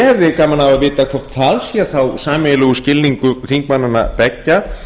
ég hefði gaman að vita hvort það er þá sameiginlegur skilningur þingmannanna beggja